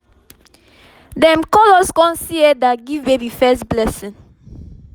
dem call us con see elder give baby first blessing